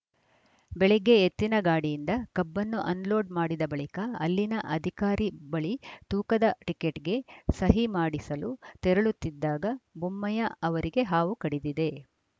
ಬೆಳಗ್ಗೆ ಎತ್ತಿನ ಗಾಡಿಯಿಂದ ಕಬ್ಬನ್ನು ಅನ್‌ ಲೋಡ್‌ ಮಾಡಿದ ಬಳಿಕ ಅಲ್ಲಿನ ಅಧಿಕಾರಿ ಬಳಿ ತೂಕದ ಟಿಕೆಟ್‌ಗೆ ಸಹಿ ಮಾಡಿಸಲು ತೆರಳುತ್ತಿದ್ದಾಗ ಬೊಮ್ಮಯ್ಯ ಅವರಿಗೆ ಹಾವು ಕಡಿದಿದೆ